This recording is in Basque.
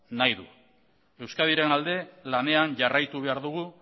nahi du euskadiren alde lanean jarraitu behar dugu